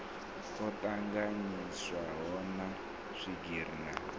o tanganyiswaho na swigiri na